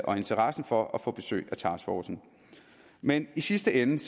og interessen for at få besøg af taskforcen men i sidste ende